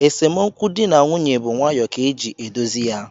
Esemokwu di na nwunye bu nwayoo ka e ji edozi ya